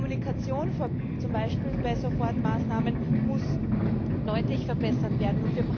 Die Kommunikation, zum Beispiel bei Sofortmaßnahmen, muss deutlich verbessert werden.